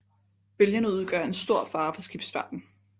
Bølgerne udgør en stor fare for skibsfarten